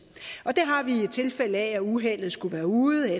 og det har vi i tilfælde af at uheldet skulle være ude og